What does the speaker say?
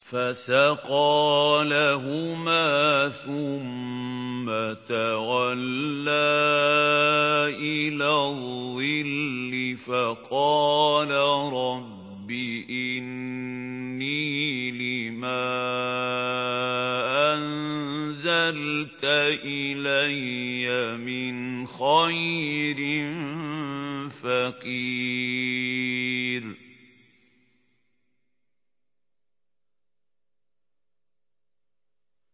فَسَقَىٰ لَهُمَا ثُمَّ تَوَلَّىٰ إِلَى الظِّلِّ فَقَالَ رَبِّ إِنِّي لِمَا أَنزَلْتَ إِلَيَّ مِنْ خَيْرٍ فَقِيرٌ